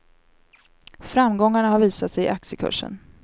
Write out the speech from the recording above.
Framgångarna har visat sig i aktiekursen.